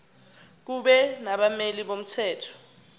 kube nabameli bomthetho